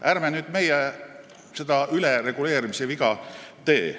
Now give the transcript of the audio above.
Ärme nüüd meie seda ülereguleerimise viga teeme.